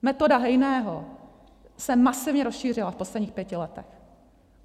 Metoda Hejného se masivně rozšířila v posledních pěti letech.